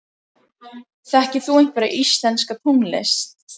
Þekkir þú einhverja íslenska tónlist?